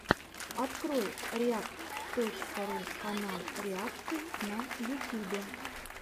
открой реакт точка ру канал реакций на ютюбе